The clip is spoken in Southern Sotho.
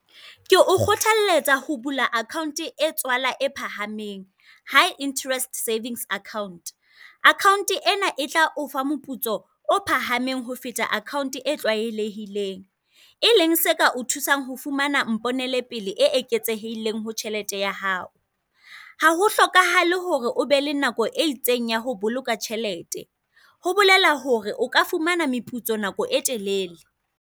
Ke o kgothaletsa ho bula akhaonte e tswala e phahameng, high interest savings account. Akhaonte ena e tla ofa moputso o phahameng ho feta akhaonte e tlwaelehileng. E leng seka o thusang ho fumana mponele pele e eketsehileng e ho tjhelete ya hao. Ha ho hlokahale hore o be le nako e itseng ya ho boloka tjhelete, ho bolela hore o ka fumana meputso nako e telele.